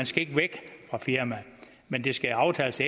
skal væk fra firmaet men det skal aftales